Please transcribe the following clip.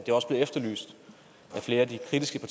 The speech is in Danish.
sige at det skal